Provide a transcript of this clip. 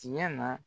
Tiɲɛ na